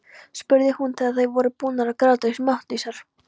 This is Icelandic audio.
spurði hún þegar þær voru búnar að gráta sig máttlausar.